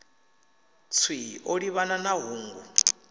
tswii o livhana na hungu